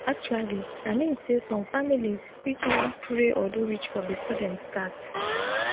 actually i min sey som familiz fit wan pray or do ritual before dem start